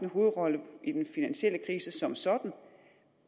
hovedrolle i den finansielle krise som sådan